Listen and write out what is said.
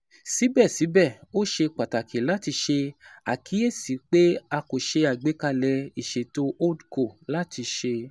Sibẹsibẹ, o ṣe pataki lati ṣe akiyesi pe a ko ṣe agbekalẹ iṣeto Hold Co lati ṣe